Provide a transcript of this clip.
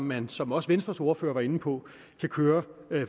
man som også venstres ordfører var inde på kan køre